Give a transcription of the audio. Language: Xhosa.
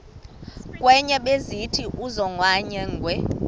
kwenye besithi usonyangwe